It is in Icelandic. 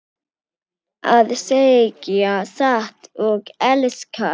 Að segja satt og elska